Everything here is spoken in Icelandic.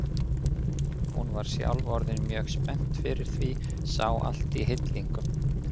Hún var sjálf orðin mjög spennt fyrir því, sá allt í hillingum.